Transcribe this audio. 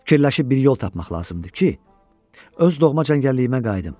Fikirləşib bir yol tapmaq lazımdır ki, öz doğma cəngəlliyimə qayıdım.